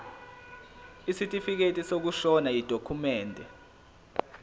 isitifikedi sokushona yidokhumende